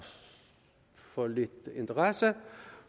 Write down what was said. for lidt interesse